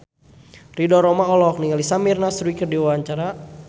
Ridho Roma olohok ningali Samir Nasri keur diwawancara